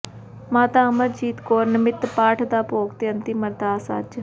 ਮਾਤਾ ਅਮਰਜੀਤ ਕੌਰ ਨਮਿੱਤ ਪਾਠ ਦਾ ਭੋਗ ਤੇ ਅੰਤਿਮ ਅਰਦਾਸ ਅੱਜ